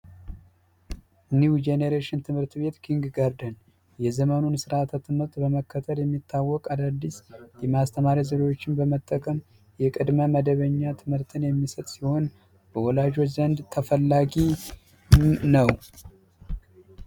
ኒዉ ጀነሬሽን ትምህርት ቤት ኪንግ ጋርደን የዘመኑን ስርዓተ ትምህርት በመከተል የሚታወቅ አዳዲስ የማስተማሪያ ዘዴዎችን በመጠቀም የቅድመ መደበኛ ትምህርትን የሚሰጥ ሲሆን በወላጆች ዘንድ ተፈላጊ ነወ።